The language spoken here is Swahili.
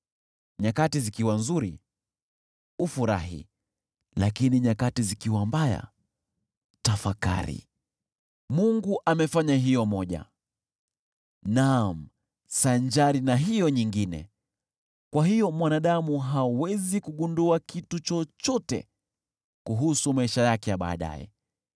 Nyakati zikiwa nzuri, ufurahi, lakini nyakati zikiwa mbaya, tafakari: Mungu amefanya hiyo moja, naam, sanjari na hiyo nyingine. Kwa hiyo, mwanadamu hawezi kugundua kitu chochote kuhusu maisha yake ya baadaye.